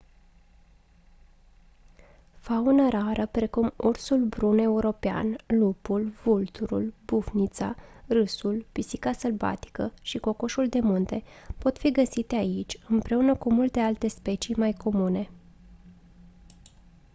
faună rară precum ursul brun european lupul vulturul bufnița râsul pisica sălbatică și cocoșul de munte pot fi găsite aici împreună cu multe alte specii mai comune